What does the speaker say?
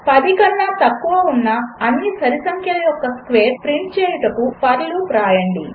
10 కన్నా తక్కువ ఉన్న అన్ని సరి సంఖ్యల యొక్క స్క్వేర్స్ ప్రింట్ చేయుటకు ఫర్ లూప్ వ్రాయండి